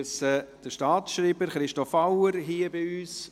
Ich begrüsse den Staatsschreiber, Christoph Auer, hier bei uns.